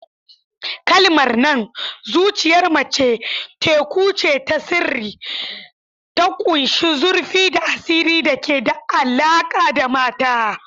Kalmar nan "Zuciyar mace teku ce ta sirri" ta ƙunshi zurfi da asiri da ke da alaƙa da mata.